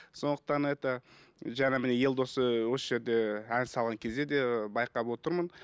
сондықтан это жаңа міне елдос ыыы осы жерде ән салған кезде де байқап отырмын